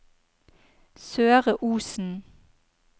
Søre Osen